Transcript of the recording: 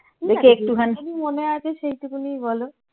মনে আছে সেইটুকুনই বল।